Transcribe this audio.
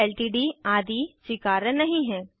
LTD आदि स्वीकार्य नहीं है